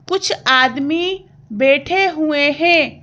कुछ आदमी बैठे हुए हैं।